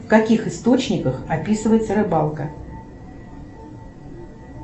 в каких источниках описывается рыбалка